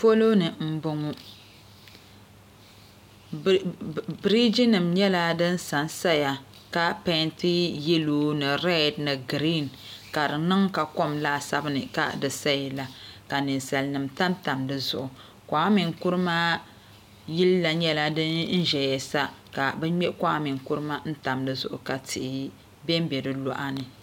polo ni m-bɔŋɔ biriijinima nyɛla din sa n-saya ka peenti yelo ni reedi ni giriin ka di niŋ ka kom laasabu ni ka di sayala ka ninsalanima tamtam di zuɣu kwame nkrumah yili la nyɛla din zaya sa ka bɛ me kwame nkrumah tam di zuɣu ka tihi be m-be di luɣa ni